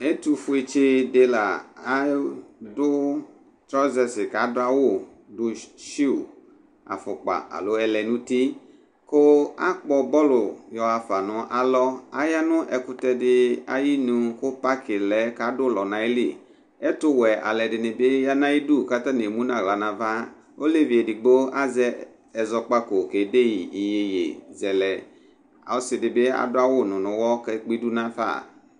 ɛtu fue tsi di la adu trɔzɛsi kadu ava sui afukpa alo ɛlu nu uti ku akpɔ bɔlu yɔɣa fa nalɔ aya nu ɛkutɛ di ayu ku paki lɛ kadu ulɔ nayili , ɛtu wɛ alu ɛdini bi yanayidu ku emu naɣla nava, olevi edigbo azɛ ɛzɔkpako kedeyi yeye zɛlɛ , ɔsi di bi adu awu nunuwɔ kekpidu du nafa